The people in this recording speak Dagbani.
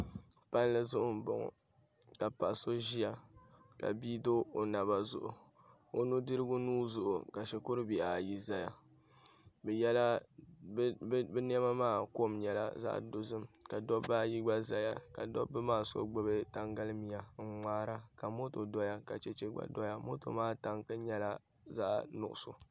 Palli zuɣu n boŋo ka paɣa so ʒiya ka bia do o naba zuɣu o nudirigu nuu zuɣu ka shikuru bihi ayi ʒɛya bi niɛma maa kom nyɛla zaɣ dozim ka dabba ayi gba ʒɛya ka dabba maa so gbubi tankali miya ka moto doya ka chɛchɛ ka doya moto maa tanki nyɛla zaɣ nuɣso